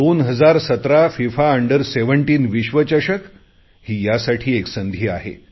2017 FIFA under 17 विश्वचषक ही यासाठी मला एक संधी आहे